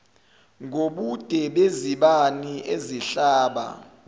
ngobude bezibani ezihlaba